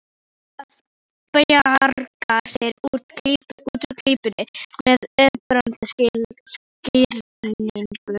Nú á að bjarga sér úr klípunni með einfaldri skýringu.